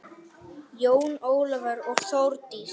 Jón Ólafur og Þórdís.